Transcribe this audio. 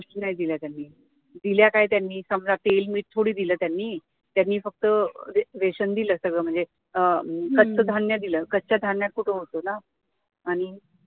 गोष्टी नाही दिल्या त्यांनी, दिल्या काय त्यांनी समजा तेल मीठ थोडी दिलं त्यांनी, त्यांनी फक्त रेशन दिल सगळं म्हणजे अं कडधान्य दिल कच्च्या धान्यात कुठे होतं ना आणि